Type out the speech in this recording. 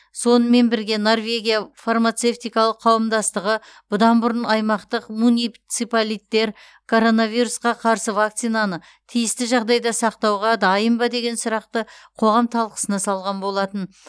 сонымен бірге норвегия фармацевтикалық қауымдастығы бұдан бұрын аймақтық муниципалиттер коронавирусқа қарсы вакцинаны тиісті жағдайда сақтауға дайын ба деген сұрақты қоғам талқысына салған болатын